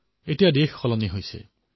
এতিয়া দেশ পৰিৱৰ্তিত হৈছে